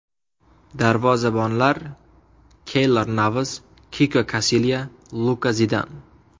Darvozabonlar: Keylor Navas, Kiko Kasilya, Luka Zidan.